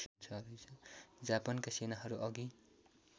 जापानका सेनाहरू अघि